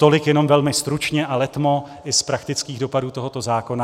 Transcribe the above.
Tolik jenom velmi stručně a letmo i z praktických dopadů tohoto zákona.